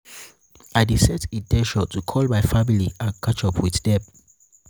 i dey set in ten tion to call my family and catch up with dem.